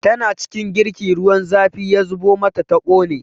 Tana cikin girki ruwan zafi ya zubo mata ta ƙone